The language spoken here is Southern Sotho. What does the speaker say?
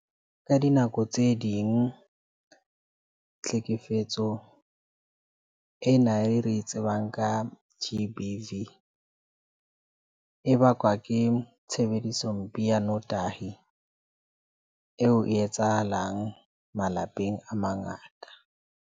Ka dinako tse ding tlhekefetso ena e re e tsebang ka G_B_V, e bakwa ke tshebediso. Mpe ya notahi eo e etsahalang malapeng a mangata.